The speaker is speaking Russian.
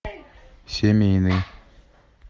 семейный